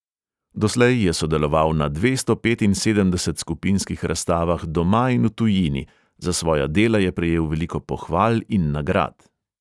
Doslej je sodeloval na dvesto petinsedemdeset skupinskih razstavah doma in v tujini, za svoja dela je prejel veliko pohval in nagrad.